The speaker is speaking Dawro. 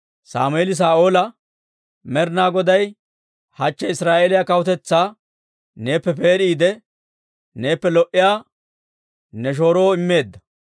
Sammeeli Saa'oola, «Med'inaa Goday hachche Israa'eeliyaa kawutetsaa neeppe peed'iide neeppe lo"iyaa ne shooroo immeedda.